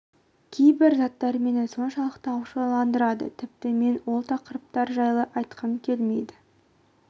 кейбір заттар мені соншалықты ашуландырады тіпті мен ол тақырыптар жайлы айтқым келмейді